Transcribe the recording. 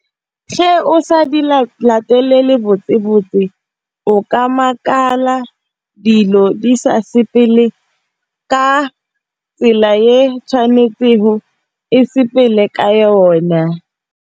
o sa di la latelela ka botse-botse o ka makala dilo di sa sepele ka tsela e tshwanetseng go e sepele ka yona.